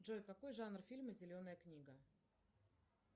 джой какой жанр фильма зеленая книга